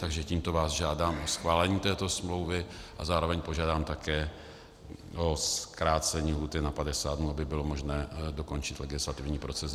Takže tímto vás žádám o schválení této smlouvy a zároveň požádám také o zkrácení lhůty na 50 dnů, aby bylo možné dokončit legislativní proces.